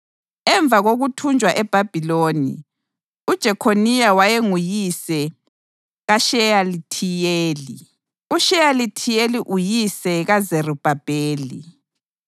Emva kokuthunjwa eBhabhiloni: uJekhoniya wayenguyise kaSheyalithiyeli, uSheyalithiyeli uyise kaZerubhabheli,